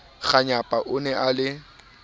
kganyapa o ne a le